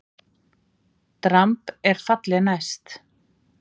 Dramb er falli næst.